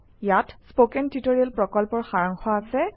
ইয়াত spoken tutorial প্ৰকল্পৰ সাৰাংশ আছে